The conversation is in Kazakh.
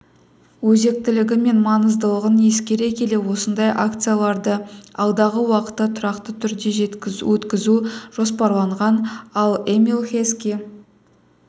өзектілігі мен маңыздылығын ескере келе осындай акцияларды алдағы уақытта тұрақты түрде өткізу жоспарланған ал эмил хески